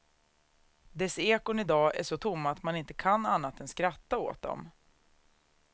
Dess ekon i dag är så tomma att man inte kan annat än skratta åt dem.